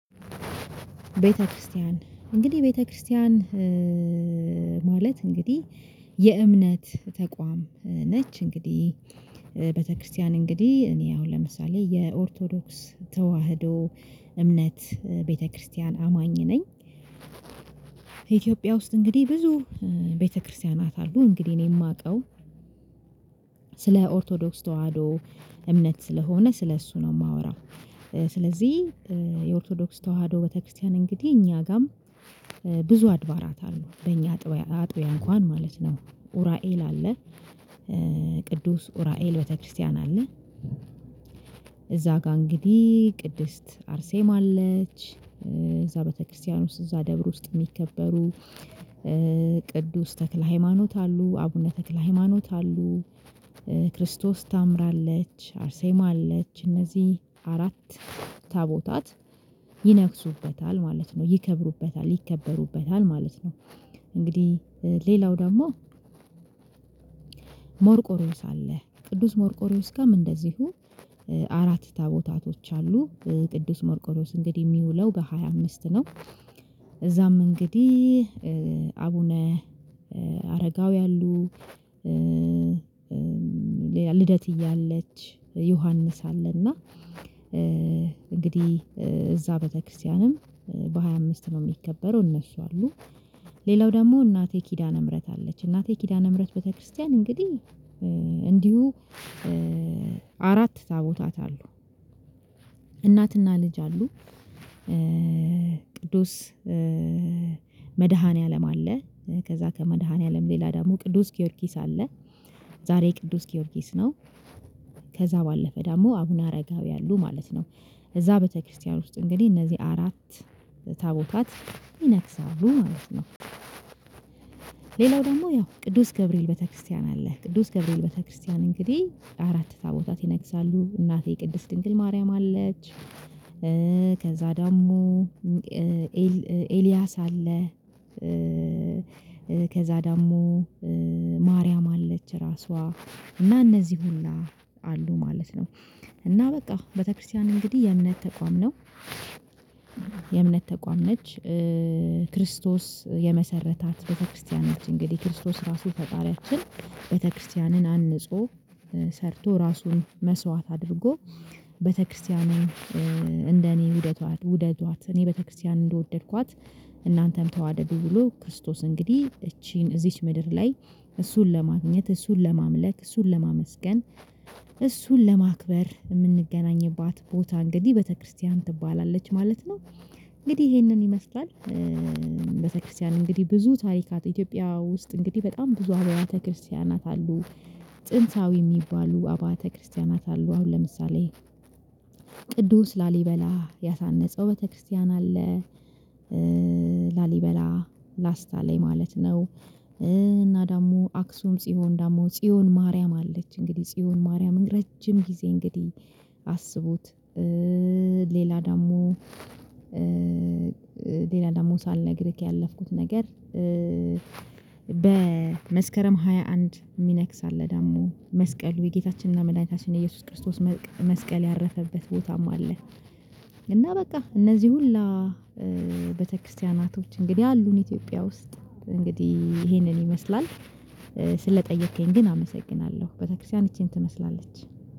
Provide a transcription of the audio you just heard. ቤተክርስቲያን እንግዲህ ቤተክርስቲያን ማለት እንግዲህ የእምነት ተቋም ነች እንግዲህ ቤተክርስቲያን እንግዲህ እኔ አሁን ለምሳሌ የኦርቶዶክስ ተዋህዶ እምነት ቤተክርስቲያን አማኝ ነኝ። ኢትዮጵያ ውስጥ እንግዲህ ብዙ ቤተክርስቲያናት አሉ እንግዲህ እኔ የማውቀው ስለ ኦርቶዶክስ ተዋህዶ እምነት ስለሆነ ስለእሱ ነው የማወራው። ስለዚህ የኦርቶዶክስ ተዋህዶ ቤተክርስቲያን እንግዲህ እኛ ጋርም ብዙ አድባራት አሉ በእኛ አጥበያ አጥበያ እንኳን ማለት ነው ኡራኤል አለ። ቅዱስ ኡራኤል ቤተክርስቲያን አለ። እዛ ጋር እንግዲህ ቅድስት አርሴማ አለች እዛ ቤተክርስቲያን ውስጥ እዛ ደብር ውስጥ የሚከበሩ ቅዱስ ተክለ ሃይማኖት አሉ አቡነ ተክለ ሃይማኖት አሉ። ክርስቶስ ሰምራ አለች አርሴማ አለች እነዚህ አራት ታቦታት ይነግሱበታል ማለት ነው ይከብሩበታል ይከበሩበታል ማለት ነው። እንግዲህ ሌላው ደግሞ መርቆርዮስ አለ ቅዱስ መርቆርዮስ ግን እንደዚሁ አራት ታቦታቶች አሉ ቅዱስ መርቆርዮስ እንግዲህ የሚውለው በሃያ አምስት ነው። እዛም እንግዲህ አቡነ አረጋዊ አሉ። ልደትዬ አለች ዮሐንስ አለና እንግዲህ እዛ ቤተክርስቲያንም በሃያ አምስት ነው የሚከበረው እነሱ አሉ። ሌላው ደግሞ እናቴ ኪዳነ ምህረት አለች እናቴ ኪዳነ ምህረት ቤተክርስቲያን እንግዲህ እንዲሁ አራት ታቦታት አለው። እናትና ልጅ አሉ። ቅዱስ መድኃኒዓለም አለ ከዛ ከመድኃኒዓለም ሌላ ደግሞ ቅዱስ ጊዮርጊስ አለ ዛሬ ቅዱስ ጊዮርጊስ ነው። ባለፈ ደግሞ አቡነ አረጋዊ አሉ ማለት ነው። እዛ ቤተክርስቲያን ውስጥ እንግዲህ እነዚህ አራት ታቦታት ይነግሳሉ ማለት ነው። ሌላው ደግሞ ያው ቅዱስ ገብርኤል ቤተክርስቲያን አለ ቅዱስ ገብርኤል ቤተክርስቲያን እንግዲህ አራት ታቦታት ይነግሳሉ እናቴ የቅድስት ድንግል ማርያም አለች። ከዛ ዳሞ ኤልያስ አለ። ከዛ ዳሞ ማርያም አለች ራሷ እና እነዚህ ሁሉ አሉ ማለት ነው። እና በቃ ቤተክርስቲያን እንግዲህ የእምነት ተቋም ነው። የእምነት ተቋም ነች። ክርስቶስ የመሰረታት ቤተክርስቲያኖች እንግዲህ ክርስቶስ ራሱ ፈጣሪያችን ቤተክርስቲያንን አንጾ ሰርቶ ራሱን መስዋት አድርጎ ቤተክርስቲያን እንደኔ ውደዷት እኔ ቤተክርስቲያን እንደወደድኳት እናንተም ተዋደዱ ብሎ ክርስቶስ እንግዲህ እቺን እዚች ምድር ላይ እሱን ለማግኘት እሱን ለማምለክ እሱን ለማመስገን እሱን ለማክበር የምንገናኝባት ቦታ እንግዲህ ቤተክርስቲያን ትባላለች ማለት ነው። እንግዲህ ይሄንን ይመስላል። ቤተክርስቲያን እንግዲህ ብዙ ታሪካት ኢትዮጵያ ውስጥ እንግዲህ በጣም ብዙ አብያተ ክርስቲያናት አሉ። ጥንታዊ የሚባሉ አቢያተ ክርስቲያናት አሉ አሁን ለምሳሌ ቅዱስ ላሊበላ ያሳነጸው ቤተክርስቲያን አለ። ላሊበላ ላስታ ላይ ማለት ነው። እና ደግሞ አክሱም ጽዮን ደግሞ ጽዮን ማርያም አለች እንግዲህ ጽዮን ማርያም ረጅም ጊዜ እንግዲህ አስቡት። ሌላ ደግሞ ሌላ ደግሞ ሳልነግርህ ያለፍኩት ነገር። በመስከረም ሃያ አንድ ሚነግስ አለ ደግሞ መስቀሉ የጌታችንና መድኃኒታችን የኢየሱስ ክርስቶስ መስቀል ያረፈበት ቦታም አለ። እና በቃ እነዚህ ሁላ ቤተክርስቲያናቶች እንግዲህ አሉን ኢትዮጵያ ውስጥ እንግዲህ ይሄንን ይመስላል። ስለጠየከኝ ግን አመሰግናለሁ ቤተክርስቲያን ይቺን ትመስላለች።